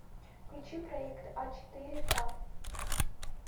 включи проект а четыре ка